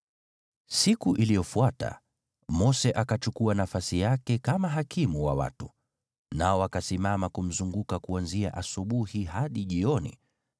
Siku iliyofuata, Mose akachukua nafasi yake kama hakimu wa watu, nao wakasimama kumzunguka kuanzia asubuhi hadi jioni.